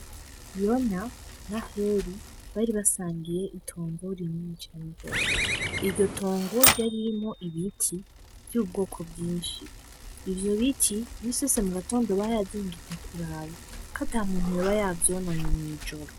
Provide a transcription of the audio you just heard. Yona na heli baribasangiye itongo rinini cangose iryo tongoryo arimo ibiti vy'ubwoko bwinshi ivyo biti misese mu gatondo bayazinduka kuraba ko ata muntu yoba yavyonone mw'ijoro.